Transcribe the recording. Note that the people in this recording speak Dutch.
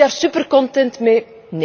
Ben ik er super content mee?